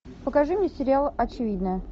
покажи мне сериал очевидное